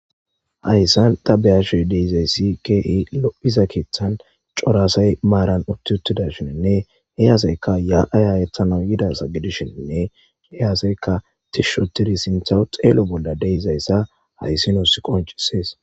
Hayssan ta beyashoy deizayssi kei lophiza keeththan corasay maaran utti uttidashiinne heyaaseyka ya'ay hayethana yida sa gidishiinne heyaaseykka tishshotidi sinthaw xeelo bolla deizayssa hayssinoos qoncisees